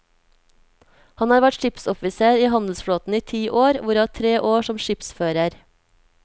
Han har vært skipsoffiser i handelsflåten i ti år, hvorav tre år som skipsfører.